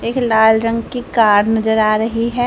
एक लाल रंग की कार नजर आ रही है।